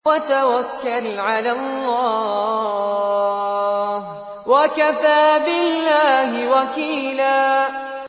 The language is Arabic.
وَتَوَكَّلْ عَلَى اللَّهِ ۚ وَكَفَىٰ بِاللَّهِ وَكِيلًا